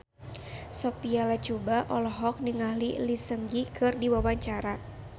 Sophia Latjuba olohok ningali Lee Seung Gi keur diwawancara